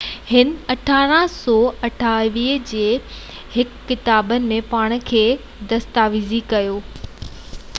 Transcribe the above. هن 1998 جي هڪ ڪتاب ۾ پاڻ کي دستاويزي ڪيو